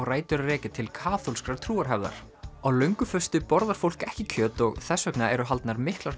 rætur að rekja til kaþólskrar trúarhefðar á borðar fólk ekki kjöt og þess vegna eru haldnar miklar